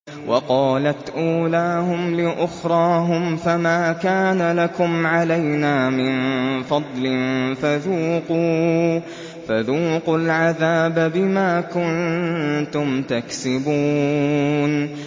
وَقَالَتْ أُولَاهُمْ لِأُخْرَاهُمْ فَمَا كَانَ لَكُمْ عَلَيْنَا مِن فَضْلٍ فَذُوقُوا الْعَذَابَ بِمَا كُنتُمْ تَكْسِبُونَ